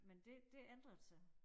Men det det ændret sig